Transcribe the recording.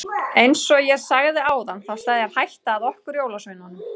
Eins og ég sagði áðan þá steðjar hætta að okkur jólasveinunum.